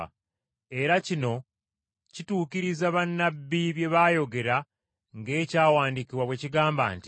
Era kino kituukiriza bannabbi bye baayogera ng’Ekyawandiikibwa bwe kigamba nti,